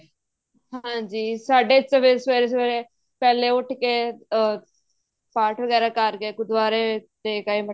ਹਾਂਜੀ ਸਾਡੇ ਸਵੇਰੇ ਸਵੇਰੇ ਪਹਿਲੇ ਉੱਠ ਕੇ ਆਹ ਪਾਠ ਵਗੈਰਾ ਕਰਕੇ ਗੁਰੂਦੁਆਰੇ ਟੇਕ ਆਏ ਮੱਥਾ